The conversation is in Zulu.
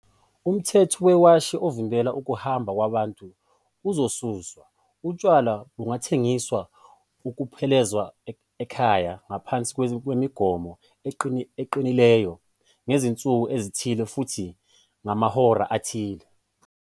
Umthetho wewashi ovimbela ukuhamba kwabantu uzosuswa. "Utshwala bungathengiswa ukuphuzelwa ekhaya ngaphansi kwemigomo eqinileyo, ngezinsuku ezithile futhi ngamahora athile."